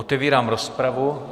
Otevírám rozpravu.